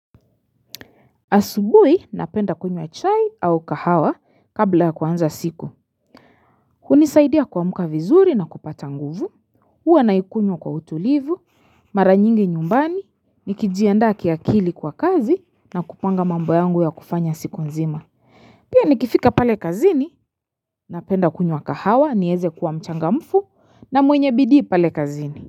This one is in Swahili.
Asubui, napenda kunywa chai au kahawa kabla ya kuanza siku. Hunisaidia kuamka vizuri na kupata nguvu. Huwa naikunywa kwa utulivu, mara nyingi nyumbani, nikijiandaa ki akili kwa kazi na kupanga mambo yangu ya kufanya siku nzima. Pia nikifika pale kazini, napenda kunywa kahawa, nieze kuwa mchangamfu na mwenye bidii pale kazini.